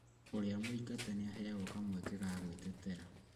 ũrĩa mũingate nĩaheagwo kamweke ga gwĩtetera